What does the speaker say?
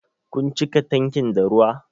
Kun cika tankin da ruwa?